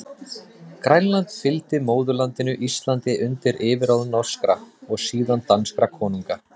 Grænland fylgdi móðurlandinu Íslandi undir yfirráð norskra, og síðan danskra konunga.